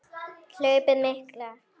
Hlaupið mikla